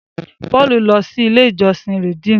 Paul lọ sí ilé ìjósìn Redeem.